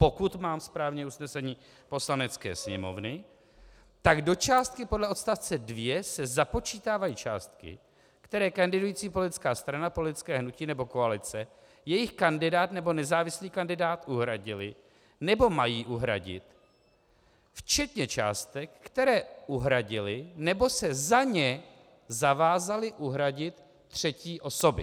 Pokud mám správně usnesení Poslanecké sněmovny, tak do částky podle odstavce 2 se započítávají částky, které kandidující politická strana, politické hnutí nebo koalice, jejich kandidát nebo nezávislý kandidát uhradili nebo mají uhradit včetně částek, které uhradily nebo se za ně zavázaly uhradit třetí osoby.